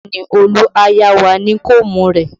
Bẹẹ ni, Olu a yá wa ní kóómù rẹ̀